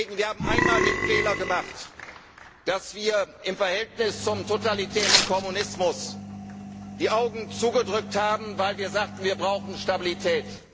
Wir haben einmal den Fehler gemacht, dass wir im Verhältnis zum totalitären Kommunismus die Augen zugedrückt haben, weil wir sagten, wir brauchen Stabilität.